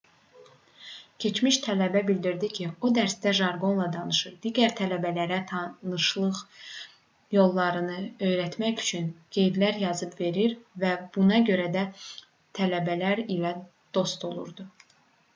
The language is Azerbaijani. keçmiş tələbə bildirdi ki o dərsdə jarqonla danışır digər tələbələrə tanışlıq yollarını öyrətmək üçün qeydlər yazıb verir və buna görə də tələbələr ilə dost olurdu